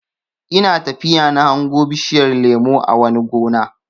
Ina tafiya na hango bishiyar lemo a wani gona.